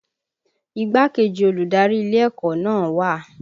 Igbákejì olùdarí ilé ẹ̀kọ́ náà wà